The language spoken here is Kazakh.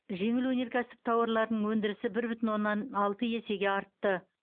жеңіл өнеркәсіп тауарларының өндірісі бір бүтін оннан алты есеге артты